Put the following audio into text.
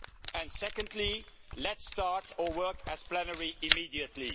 And secondly, let's start our work as plenary immediately.